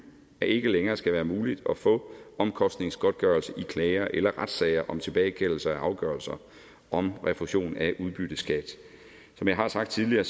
ikke længere skal være muligt at få omkostningsgodtgørelse i klager eller retssager om tilbagekaldelser af afgørelser om refusion af udbytteskat som jeg har sagt tidligere